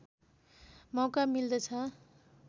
मौका मिल्दछ